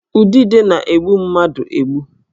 Udide na-egbu mmadụ egbu